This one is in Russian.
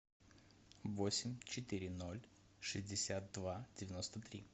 восемь четыре ноль шестьдесят два девяносто три